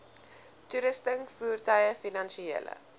toerusting voertuie finansiële